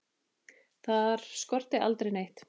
Þar skorti aldrei neitt.